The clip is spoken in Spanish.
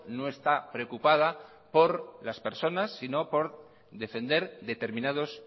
no estápreocupada por las personas sino por defender determinados